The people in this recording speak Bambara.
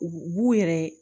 U b'u yɛrɛ